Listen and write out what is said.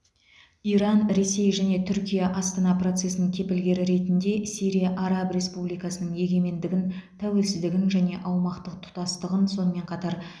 иран ресей және түркия астана процесінің кепілгері ретінде сирия араб республикасының егемендігін тәуелсіздігін және аумақтық тұтастығын сонымен қатар